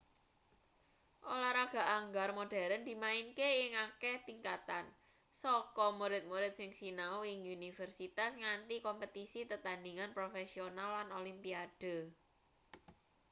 olahraga anggar modern dimainke ing akeh tingkatan saka murid-murid sing sinau ing universitas nganti kompetisi tetandhingan profesional lan olimpiade